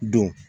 Don